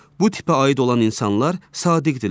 Bu tipə aid olan insanlar sadiqdilər.